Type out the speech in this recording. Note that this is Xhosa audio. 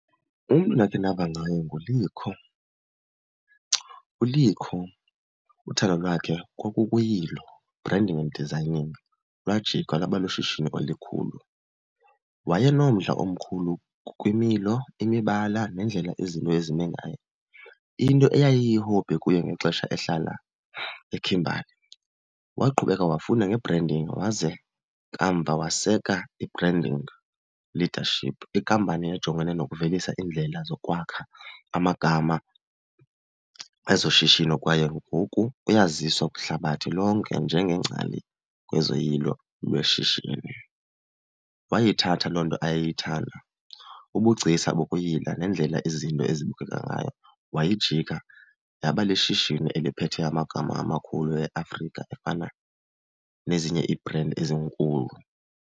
Umntu endakhe ndava ngaye nguLikho. ULikho uthando lwakhe kwakukuyilo, branding and designing, lwajika lwaba lushishini elikhulu. Wayenomdla omkhulu kwimilo, imibala nendlela izinto ezime ngayo, into eyayiyi-hobby kuye ngexesha ehlala eKimberly. Waqhubeka wafunda nge-branding waze kamva waseka i-branding leadership, inkampani ejongene nokuvelisa iindlela zokwakha amagama ezoshishino kwaye ngoku uyaziswa kwihlabathi lonke njengengcali kwezoyilo lweshishini. Wayithatha loo nto ayeyithanda, ubugcisa bokuyila nendlela izinto ezibukeka ngayo wayijika yaba lishishini eliphethe amagama amakhulu eAfrika efana nezinye ibhrendi ezinkulu.